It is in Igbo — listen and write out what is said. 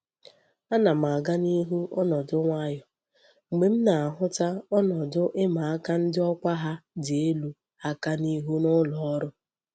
Ana m aga n'ihu onodu nwayo mgbe m na-ahuta onodu I'ma ndi okwa ha di elu aka n'ihu n'uloru.